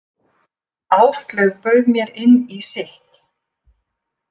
Áslaug bauð mér inn í sitt.